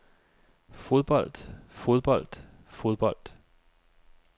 fodbold fodbold fodbold